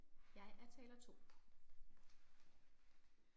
Jeg er taler 2